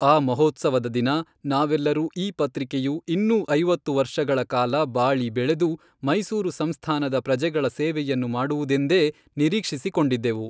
ಆ ಮಹೋತ್ಸವದ ದಿನ ನಾವೆಲ್ಲರೂ ಈ ಪತ್ರಿಕೆಯು ಇನ್ನೂ ಐವತ್ತು ವರ್ಷಗಳ ಕಾಲ ಬಾಳಿ ಬೆಳೆದು ಮೈಸೂರು ಸಂಸ್ಥಾನದ ಪ್ರಜೆಗಳ ಸೇವೆಯನ್ನು ಮಾಡುವುದೆಂದೇ ನಿರೀಕ್ಷಿಸಿಕೊಂಡಿದ್ದೆವು.